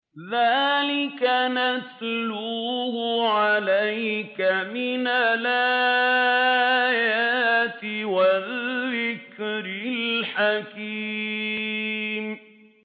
ذَٰلِكَ نَتْلُوهُ عَلَيْكَ مِنَ الْآيَاتِ وَالذِّكْرِ الْحَكِيمِ